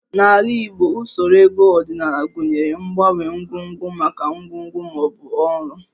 N'ala Igbo, usoro ego ọdịnala gụnyere mgbanwe ngwongwo maka ngwongwo ma ọ bụ ọrụ